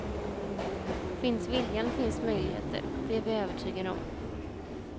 Finns viljan finns möjligheter, det är vi övertygade om.